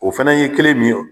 O fɛnɛ ye kelen min yo